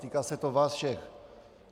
Týká se to vás všech.